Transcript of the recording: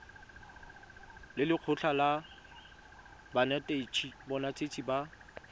le lekgotlha la banetetshi ba